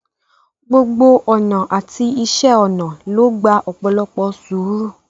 Gbogbo ọnà àti iṣẹ́ ọnà ló gba ọpọlọ àti sùúrù.